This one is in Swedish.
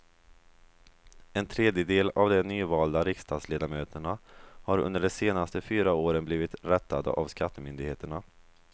En tredjedel av de nyvalda riksdagsledamöterna har under de senaste fyra åren blivit rättade av skattemyndigheterna.